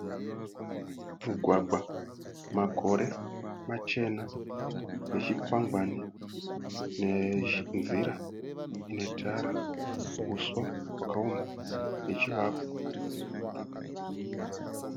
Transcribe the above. Mugwagwa, makore machena nechikwangwani nenzira yetara. Uswa nechivakwa.